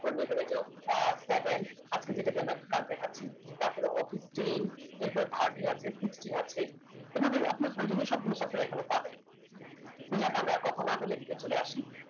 seven আজকে যেটা দিলাম একটু কাজ দেখাচ্ছি তারপরে office ten এরপরে thirteen আছে sixteen আছে এভাবেই আপনার প্রয়োজনীয় সবগুলো software এখানে পাবেন তো যাক আমরা আর কথা না বলে এদিকে চলে আসি